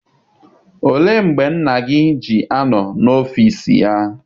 Olee mgbe nna gị ji anọ n'ọfịịsi ya?